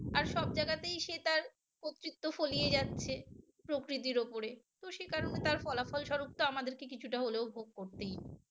আর সব জায়গাতেই সে তার কর্তৃত্ব ফলিয়ে যাচ্ছে প্রকৃতির ওপরে তো সেই কারণে তার ফলাফল স্বরূপ টা আমাদেরকে কিছুটা হলেও ভোগ করতেই